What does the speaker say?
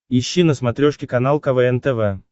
ищи на смотрешке канал квн тв